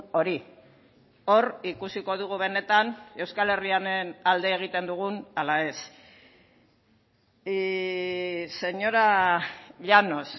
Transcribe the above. hori hori ikusiko dugu benetan euskal herriaren alde egiten dugun ala ez señora llanos